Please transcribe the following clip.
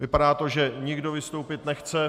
Vypadá to, že nikdo vystoupit nechce.